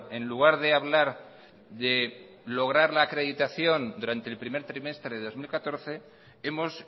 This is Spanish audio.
en lugar de hablar de lograr la acreditación durante el primer trimestre de dos mil catorce hemos